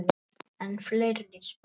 Enn fleiri spor.